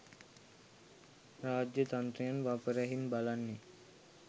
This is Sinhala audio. රාජ්‍යතන්ත්‍රයන් වපරැහින් බලන්නේ